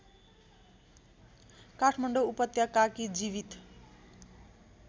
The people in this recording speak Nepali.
काठमाडौँ उपत्यकाकी जीवित